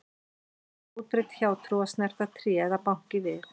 Það er útbreidd hjátrú að snerta tré eða banka í við.